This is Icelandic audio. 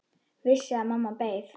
Vissi að mamma beið.